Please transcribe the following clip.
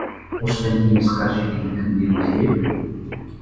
осыдан кейін біз қаржекеңді кім деуіміз керек